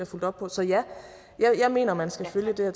fulgt op på så ja jeg mener at man skal følge det